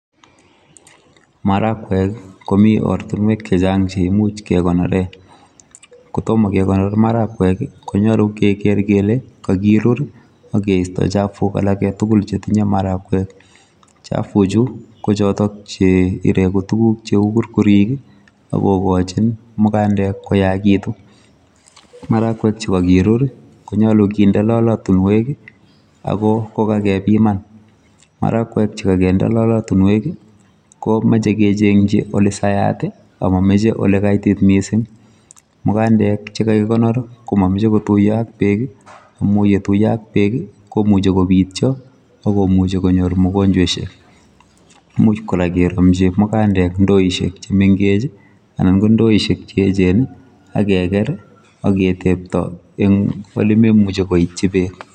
Maragwek komi ortinwek chechang che kemuch kekonoree kotom kekonor maharakwek ko nyolu kenai kele kakirur ak keisto chafuk tugul che tinye maharakwek. Chafuchu ko chotok che ireu tuguk cheu kurkurik ako kokojin mukandek koyakitu maharakwek che kakirur konyolu kende lolotunwek ako ko kakebiman maharagwek che kakinde lolotunwek ko mochei kechenji ole saat ako mamachei ole kaitit missing .Mukandek che kakikonor ko momochei kotuiyo ak beek amu yetuiyo ak beek komuchi kobityo ak komuchi konyor mogonjweshek much kora keromji mukandek ndoishek che mengech anan ndoishek che eechen ak keker ak ketebto eng ole memuchi koityi beek.